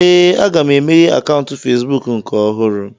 Ee, aga m emeghe akaụntụ Fesbụụk nke ọhụrụ